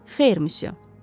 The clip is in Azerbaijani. Xeyr, Monsieur.